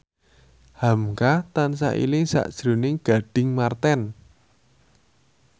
hamka tansah eling sakjroning Gading Marten